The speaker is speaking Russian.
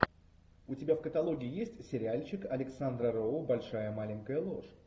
у тебя в каталоге есть сериальчик александра роу большая маленькая ложь